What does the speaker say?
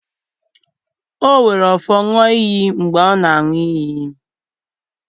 o were ofo ṅụọ iyi mgbe ọ na-aṅụ iyi.